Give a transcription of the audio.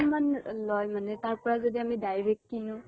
মান লয় মানে তাৰ পৰা যদি আমি direct কিনো?